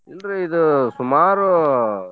ಇಲ್ರೀ ಇದು ಸುಮಾರು.